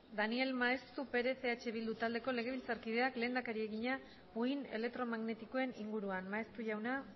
daniel maeztu perez eh bildu taldeko legebiltzarkideak lehendakariari egina uhin elektromagnetikoen inguruan maeztu jauna